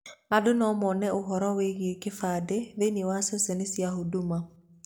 Andũ no mone ũhoro wĩgiĩ kĩbandĩ thĩiniĩ wa ceceni cia huduma.